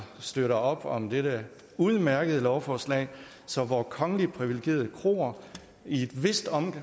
støttet op om dette udmærkede lovforslag så vore kongeligt privilegerede kroer i et vist omfang